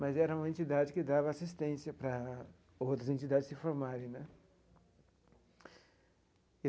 Mas era uma entidade que dava assistência para outras entidades se formarem né.